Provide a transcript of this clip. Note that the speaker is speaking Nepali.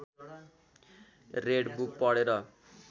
रेड बुक पढेर